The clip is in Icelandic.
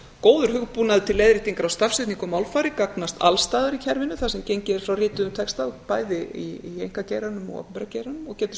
góður hugbúnaður til leiðréttingar á stafsetningu og málfari gagnast alls staðar í kerfinu þar sem gengið er frá rituðum texta bæði í einkageiranum og opinbera geiranum og getur